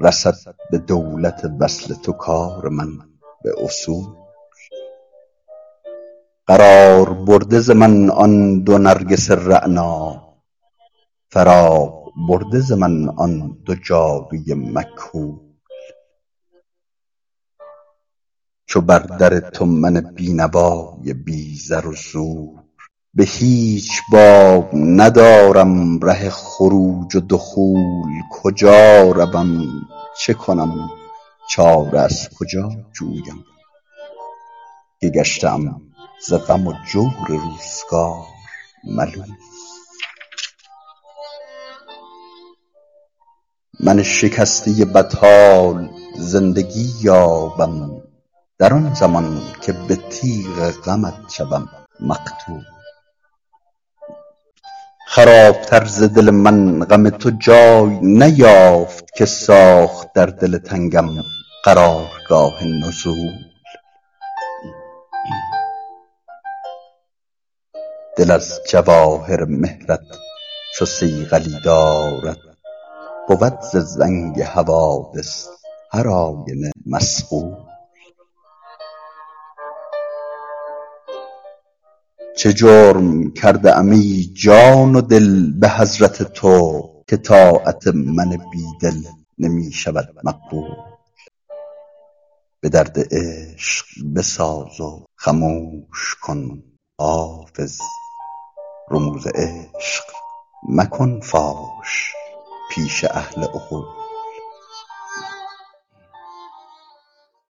رسد به دولت وصل تو کار من به اصول قرار برده ز من آن دو نرگس رعنا فراغ برده ز من آن دو جادو ی مکحول چو بر در تو من بینوا ی بی زر و زور به هیچ باب ندارم ره خروج و دخول کجا روم چه کنم چاره از کجا جویم که گشته ام ز غم و جور روزگار ملول من شکسته بدحال زندگی یابم در آن زمان که به تیغ غمت شوم مقتول خراب تر ز دل من غم تو جای نیافت که ساخت در دل تنگم قرار گاه نزول دل از جواهر مهر ت چو صیقلی دارد بود ز زنگ حوادث هر آینه مصقول چه جرم کرده ام ای جان و دل به حضرت تو که طاعت من بیدل نمی شود مقبول به درد عشق بساز و خموش کن حافظ رموز عشق مکن فاش پیش اهل عقول